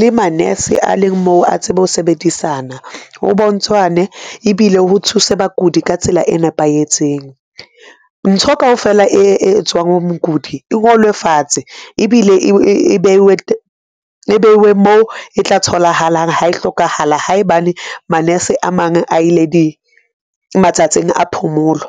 le ma nurse a leng moo a tsebe ho sebedisana ho bontshwane ebile ho thuse bakudi ka tsela e nepahetseng. Ntho kaofela e etswang mokudi e ngolwe fatshe. Ebile e beiwe moo e tla tholahalang ha e hlokahala. Haebane manese a mang a ile di, matsatsing a phomolo.